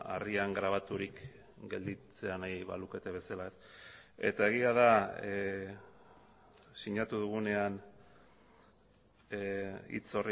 harrian grabaturik gelditzea nahi balukete bezala eta egia da sinatu dugunean hitz